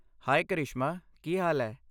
ਹਾਏ ਕਰਿਸ਼ਮਾ, ਕੀ ਹਾਲ ਹੈ?